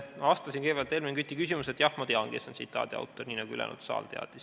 Ma vastasin Helmen Küti küsimusele, et jah, ma tean, kes on tsitaadi autor, nii nagu ka ülejäänud saal teab.